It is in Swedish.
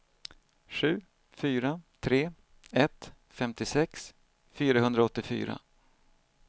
sju fyra tre ett femtiosex fyrahundraåttiofyra